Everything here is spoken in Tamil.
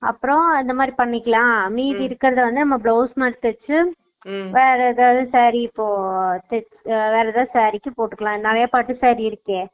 அப்பறம் அந்த மாதிரி பண்ணிக்கலாம் மீதி இருக்குறத நம்ம blouse மாறி தேச்சு வேற எதாச்சு saree க்கு இப்போ உம் அஹ வேற எதாவது saree க்கு போட்டுக்கலாம் நெறைய பச்ச saree இருக்கே